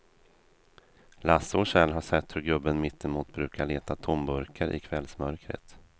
Lasse och Kjell har sett hur gubben mittemot brukar leta tomburkar i kvällsmörkret.